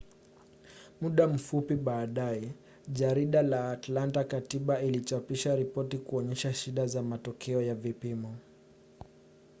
muda mfupi baadaye jarida la atlanta-katiba lilichapisha ripoti kuonyesha shida za matokeo ya vipimo